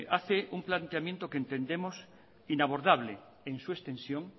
hace un planteamiento que entendemos inabordable en su extensión